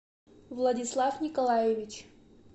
владислав николаевич